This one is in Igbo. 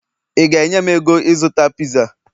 ị ga-enye m ego ịzụta pizza?